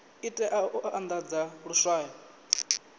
i tea u andadza luswayo